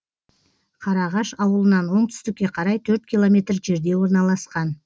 қараағаш ауылынан оңтүстікке қарай төрт километр жерде орналасқан